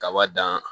Kaba dan